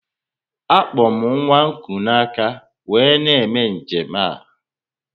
Akpo m nwa kuu na aka wee na eme njem a